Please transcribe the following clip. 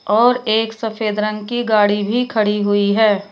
और एक सफेद रंग की गाड़ी भी खड़ी हुई है।